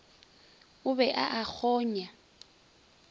o be a a kgonya